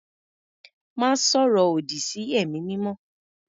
Má sọ̀rọ̀ òdì sí ẹ̀mí mímọ́.